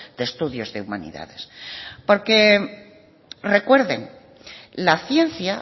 de estudios de humanidades porque recuerden la ciencia